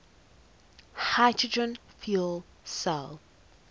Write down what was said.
hydrogen fuel cell